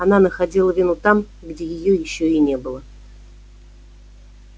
она находила вину там где её ещё и не было